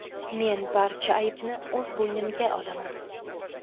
Men barcha aybni o‘z bo‘ynimga olaman.